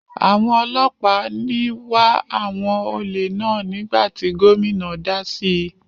Àwọn ọlọ́pàá ní wá àwọn olè náà nígbà tí gómìnà dá síi.